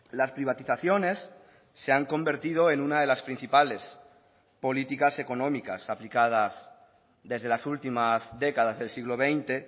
las privatizaciones se han convertido en una de las principales políticas económicas aplicadas desde las últimas décadas del siglo veinte